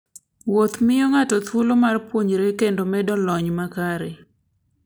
Wuoth miyo ng'ato thuolo mar puonjore kendo medo lony mare.